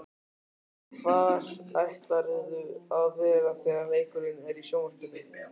Linda: Hvar ætlarðu að vera þegar leikurinn er í sjónvarpinu?